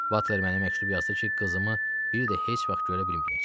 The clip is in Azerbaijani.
Butler mənə məktub yazdı ki, qızımı bir də heç vaxt görə bilməyəcəyəm.